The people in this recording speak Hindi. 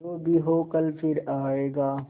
जो भी हो कल फिर आएगा